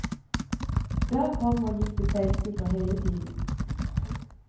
Der kom og gikk det seilskuter hele tiden.